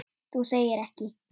Þú segir ekki.